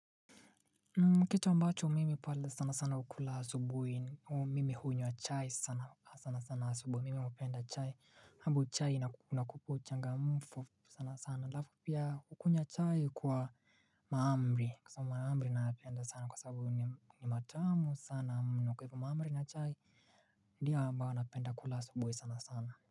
Kitu ambacho mimi pale sana sana ukula asubuhi mimi hunywa chai sana sana sana asubuhi mimi upenda chai. Habu chai na inakupa uchangamfu sana sana. Alafu pia hukunywa chai kwa mahamri. Kwa sababu mahamri nayapenda sana kwa saabu ni matamu sana mno. Kwa hivo mahamri na chai, ndio ambao napenda kula asubuhi sana sana.